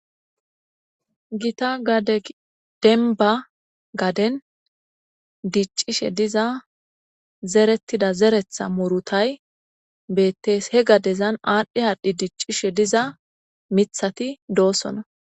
gita gadedenba gaden diccishe diza zerettida zeretha murutay bettes he gadezan aadhdhi aadhdhi diccishe diza mithati doosona